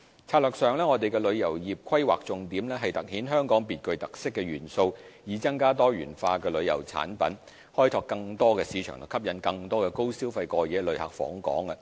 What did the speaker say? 策略上，我們旅遊業的規劃重點是凸顯香港別具特色的元素，以增加多元化的旅遊產品，開拓更多市場和吸引更多高消費的過夜旅客訪港。